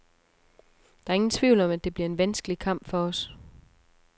Der er ingen tvivl om, at det bliver en vanskelig kamp for os.